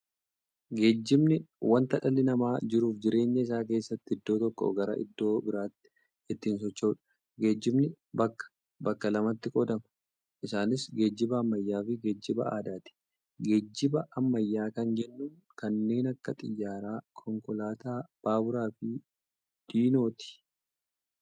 Geejibni wanta dhalli namaa jiruuf jireenya isaa keessatti iddoo tokkoo garaa iddoo biraatti ittiin socho'uudha. Geejibni bakka bakka lamatti qoodama. Isaanis, geejiba ammayyaafi geejiba aadaati. Geejiba ammayyaa kan jennuun kanneen akka xiyyaaraa, konkolaataa, baaburafi diinooti.